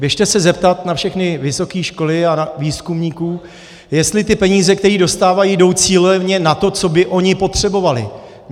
Běžte se zeptat na všechny vysoké školy a výzkumníků, jestli ty peníze, které dostávají, jdou cíleně na to, co by oni potřebovali.